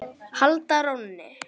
halda rónni.